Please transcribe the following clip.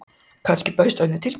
Kannski bauðst önnur tilbreyting.